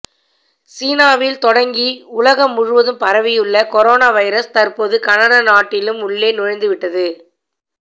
சீனாவில் தொடங்கி உலகம் முழுவதும் பரவியுள்ள கொரோனா வைரஸ் தற்போது கனடா நாட்டிலும் உள்ளே நுழைந்துவிட்டது